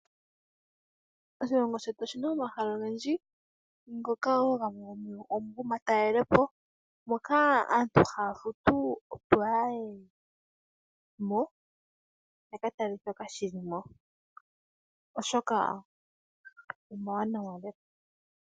Oshilongo shetu oshina omahala ogendji ngoka wo gamwe gomugo gomatalelepo moka aantu haya futu opo ya yemo, yaka tale shoka shilimo oshoka omawanawa lela.